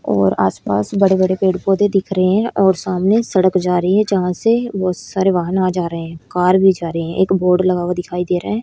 और आसपास बड़े बड़े पेड़ पौधे दिख रहे हैं और सामने सड़क जा रही है जहां से बहुत सारे वाहन आ जा रहे हैं कार भी जा रहे हैं एक बोर्ड लगा हुआ दिखाई दे रहा है।